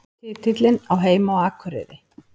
Titillinn á heima á Akureyri